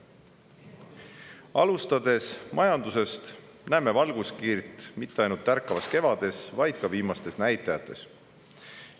Alustades majandusest, näeme valguskiirt mitte ainult tärkavas kevades, vaid ka viimastes näitajates.